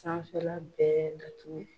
Sanfɛ la bɛɛ datugu.